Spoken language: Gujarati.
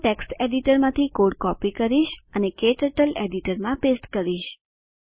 હું ટેક્સ્ટ એડિટરમાંથી કોડ કૉપિ કરીશ અને ક્ટર્ટલ એડિટરમાં પેસ્ટ કરીશ